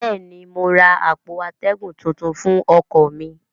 bẹ́ẹ̀ ni, mo ra àpò atẹ́gùn tuntun fún ọkọ̀ mi